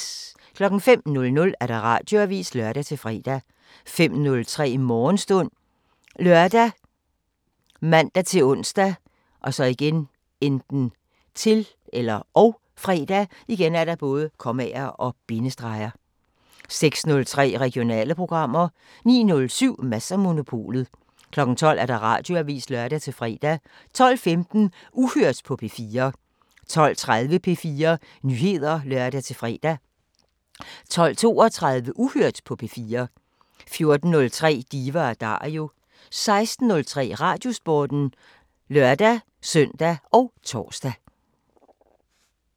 05:00: Radioavisen (lør-fre) 05:03: Morgenstund ( lør, man-ons, -fre) 06:03: Regionale programmer 09:07: Mads & Monopolet 12:00: Radioavisen (lør-fre) 12:15: Uhørt på P4 12:30: P4 Nyheder (lør-fre) 12:32: Uhørt på P4 14:03: Diva & Dario 16:03: Radiosporten (lør-søn og tor)